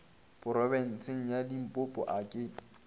phorobentsheng ya limpopo a ke